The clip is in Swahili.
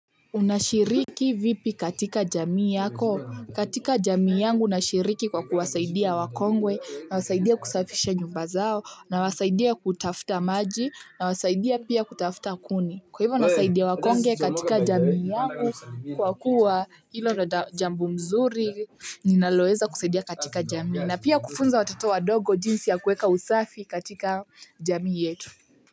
Unashiriki vipi katika jamii yako? Katika jamii yangu nashiriki kwa kuwasaidia wakongwe na wasaidia kusafisha nyumba zao na wasaidia kutafta maji na wasaidia pia kutafuta kuni. Kwa hivyo nasaidia wakongwe katika jamii yangu kwa kuwa hilo ni jambo mzuri, ninaloweza kusaidia katika jamii na pia kufunza watoto wadogo jinsi ya kuweka usafi katika jamii yetu.